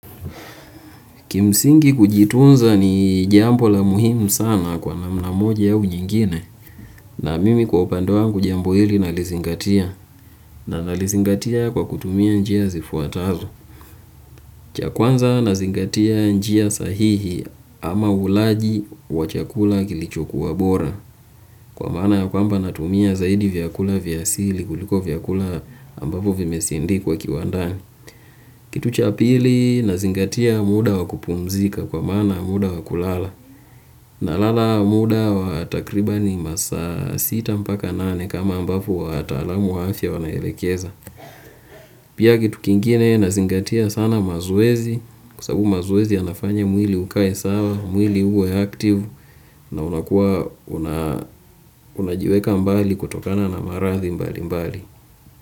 Kimsingi kujitunza ni jambo la muhimu sana kwa namna moja ya nyingine na mimi kwa upande wangu jambo hili nalizingatia na nalizingatia kwa kutumia njia zifuatazo. Chakwanza nazingatia njia sahihi ama ulaji wa chakula kilichokuwa bora kwa mana kwamba natumia zaidi vyakula vyasili kuliko vyakula ambavyo vimesindikwa kiwandani. Kitu cha pili nazingatia muda wa kupumzika kwa maana ya muda wa kulala nalala muda wa takribani masaa sita mpaka nane kama ambavyo wataalamu wanaelekeza. Pia kitu kingine na zingatia sana mazoezi kwasabu mazoezi yanafanya mwili ukae sawa, mwili uwe active na unakuwa unajiweka mbali kutokana na marathi mbali mbali.